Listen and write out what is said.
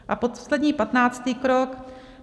A poslední, patnáctý krok.